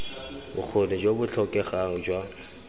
bokgoni jo bo tlhokegang jwa